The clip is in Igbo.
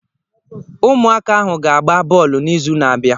Ụmụaka ahụ ga-agba bọọlụ n'izu na-abịa.